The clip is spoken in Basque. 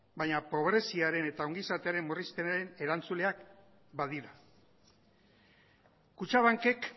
baina pobreziaren eta ongizatearen murrizpenaren erantzuleak badira kutxabankek